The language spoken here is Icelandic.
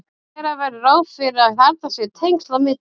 gera verður ráð fyrir að þarna séu tengsl á milli